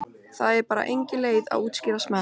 Það er bara engin leið að útskýra smekk.